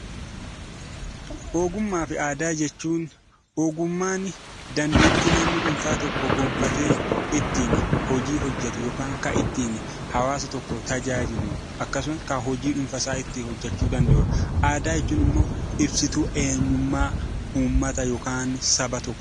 Ogummaa fi aadaa. Ogummaan dandeettii namni dhuunfaa tokko gonfatee ittiin hojii hojjetu yookiin kan ittiin hawwaasa tokko tajaajilu akkasumas kan hojii dhuunfaa isaa ittiin hojjechuu danda'uudha. Aadaa jechuun immoo ibsituu eenyuummaa yookiin immoo saba tokkooti.